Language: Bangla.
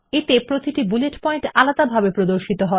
এতে প্রতিটি বুলেট পয়েন্ট আলাদাভাবে প্রদর্শন করা হয়